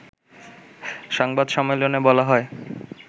সংবাদ সম্মেলনে বলা হয়